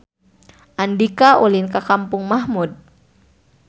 Andika ulin ka Kampung Mahmud